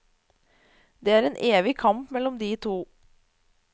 Det er en evig kamp mellom de to.